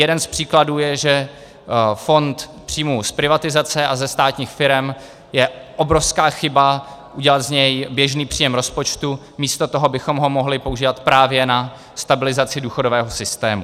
Jeden z příkladů je, že fond příjmů z privatizace a ze státních firem - je obrovská chyba udělat z něj běžný příjem rozpočtu místo toho, abychom ho mohli používat právě na stabilizaci důchodového systému.